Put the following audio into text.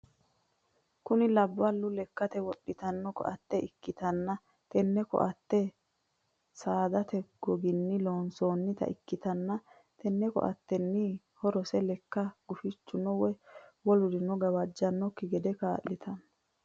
Kunni labalu lekate wodhano koate ikitanna tenne koate saadate goginni loonsoonnita ikitanna tenne koatenniti horose leka gufichunni woyi wolurinni gawajantanoki gede kaa'litano.